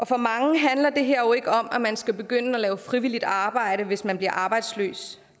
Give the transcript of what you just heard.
for mange handler det her jo ikke om at man skal begynde at lave frivilligt arbejde hvis man bliver arbejdsløs